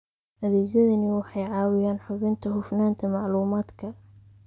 Adeegyadani waxay caawiyaan hubinta hufnaanta macluumaadka.